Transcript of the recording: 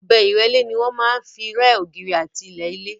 Ọ̀bẹ ìrẹ́lé ni wọ́n máa ń fi rẹ́ ògiri àti ilẹ̀ ilé.